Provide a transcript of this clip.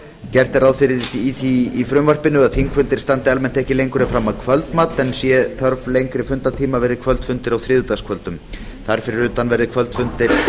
gert er ráð fyrir því í frumvarpinu að þingfundir standi almennt ekki lengur en fram að kvöldmat sé hins vegar þörf á lengri fundartíma verði kvöldfundir á þriðjudagskvöldum þar fyrir utan verði kvöldfundir